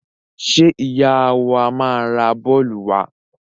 Ṣé ìyá wa máa ra bọ́ọ́lù wa?